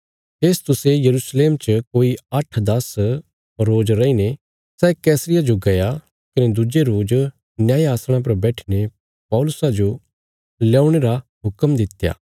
फेस्तुसे यरूशलेम च कोई आठदास रोज रईने सै कैसरिया जो गया कने दुज्जे रोज न्याय आसणा पर बैठीने पौलुसा जो लयाऊणे रा हुक्म दित्या